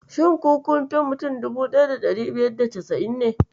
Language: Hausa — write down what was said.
Shin ku kunfi mutum 1590 ne?